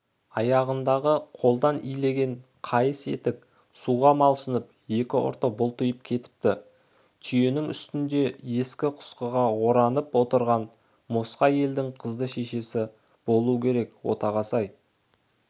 аяғындағы қолдан илеген қайыс етік суға малшынып екі ұрты бұлтиып кетіпті түйенің үстінде ескі-құсқыға оранып отырған мосқал әйел қыздың шешесі болу керек отағасы-ай